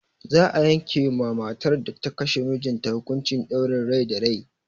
Za a yanke ma matar da ta kashe mijinta hukuncin ɗaurin rai da rai.